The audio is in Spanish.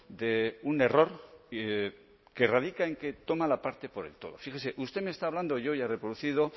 de un error que radica en que toma la parte por el todo fíjese usted me está hablando y yo ya he reproducido